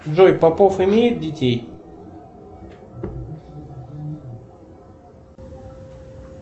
джой попов имеет детей